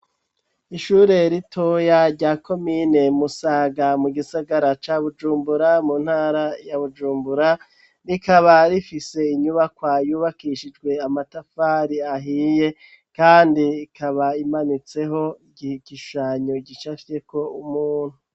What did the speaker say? Ishure ritoya rya komine musaga mu gisagara ca bujumbura mu ntara ya bujumbura, rikaba rifise inyubakwa yubakishijwe amatafari ahiye kandi ikaba imanitseho igishushanyo gicafyeko umuntu.